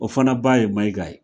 O fana ba ye Mayiga ye.